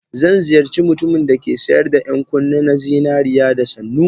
Zan ziyarci mutumin da ke sayar da 'yan kunne na zinariya da sannu.